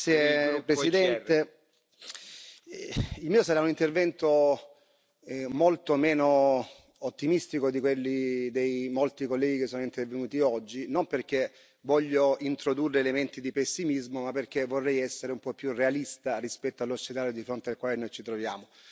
Signor Presidente, onorevoli colleghi, il mio sarà un intervento molto meno ottimistico di quelli dei molti colleghi che sono intervenuti oggi, non perché voglio introdurre elementi di pessimismo ma perché vorrei essere un po' più realista rispetto allo scenario di fronte al quale noi ci troviamo.